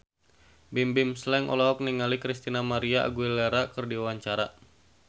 Bimbim Slank olohok ningali Christina María Aguilera keur diwawancara